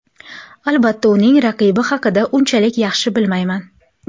Albatta, uning raqibi haqida unchalik yaxshi bilmayman.